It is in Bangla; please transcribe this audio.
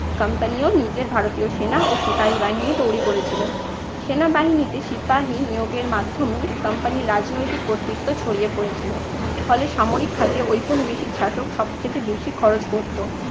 company ও নিজের ভারতীয় সেনা ও সিপাহী বাহিনী তৈরি করেছিল। সেনাবাহিনীতে সিপাহী নিয়োগের মাধ্যমে company র রাজনৈতিক কর্তৃত্ব ছড়িয়ে পড়েছিলো। ফলে সামরিক খাতে ঔপনিবেশিক শাসক সব থেকে বেশি খরচ করতো।